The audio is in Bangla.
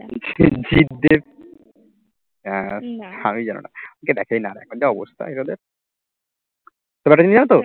জিৎ দেব আর নাম ই জানো না কেউ দেখেই না এখন যা অবস্থা এগুলোর তবে একটা জিনিস জানতো